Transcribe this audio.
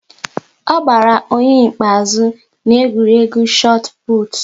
Ọ gbara onye nke ikpeazụ n'egwuregwu chot put